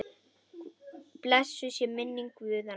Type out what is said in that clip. Blessuð sé minning Guðna.